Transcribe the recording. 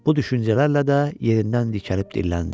Bu düşüncələrlə də yerindən dikəlib dilləndi.